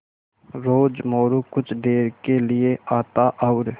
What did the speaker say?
रोज़ मोरू कुछ देर के लिये आता और